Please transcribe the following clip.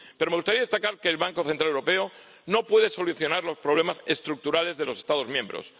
Pero me gustaría destacar que el Banco Central Europeo no puede solucionar los problemas estructurales de los Estados miembros.